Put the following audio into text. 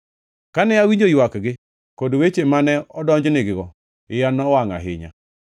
Kane awinjo ywakgi kod weche mane odonjnigigo, iya nowangʼ ahinya.